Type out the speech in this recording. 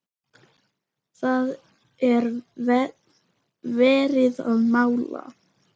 það er verið að mála.